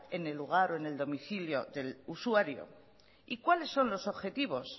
en el lugar o en domicilio del usuario y cuáles son los objetivos